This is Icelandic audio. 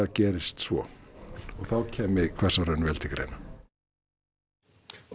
gerist svo þá kæmi Hvassahraun vel til greina og